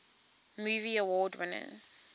movie award winners